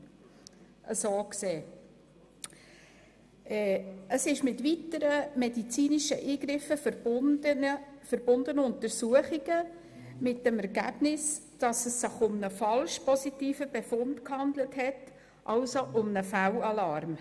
Manchmal folgen auf einen positiven Screening-Befund mit weiteren medizinischen Eingriffen verbundene Untersuchungen, mit dem Ergebnis, dass es sich um einen falsch-positiven Befund gehandelt hat, also um einen Fehlalarm.